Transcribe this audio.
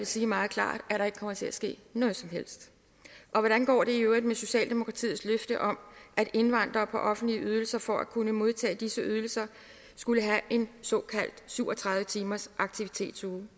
sige meget klart at der ikke kommer til at ske noget som helst hvordan går det i øvrigt med socialdemokratiets løfte om at indvandrere på offentlige ydelser for at kunne modtage disse ydelser skulle have en såkaldt syv og tredive timers aktivitetsuge